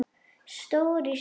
Stór í sniðum.